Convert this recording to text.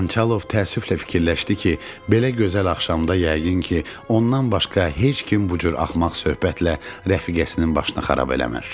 Xançalov təəssüflə fikirləşdi ki, belə gözəl axşamda yəqin ki, ondan başqa heç kim bu cür axmaq söhbətlə rəfiqəsinin başını xarab eləmir.